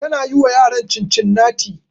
Tana yi wa yaran Cincinnati